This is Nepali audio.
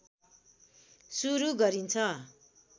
सुरू गरिन्छ